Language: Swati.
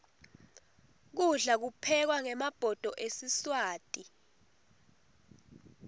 kudla kuphekwa ngemabhodo esiswati